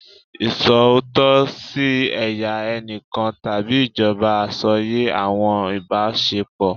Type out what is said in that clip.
Iṣootọ si ẹya ẹnikan tabi ijọba asọye awọn ibasepo